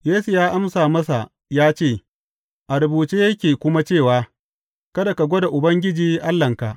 Yesu ya amsa masa ya ce, A rubuce yake kuma cewa, Kada ka gwada Ubangiji Allahnka.’